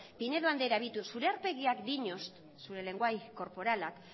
pinedo anderea begiratu zure aurpegiak diñosta zure lengoai korporalak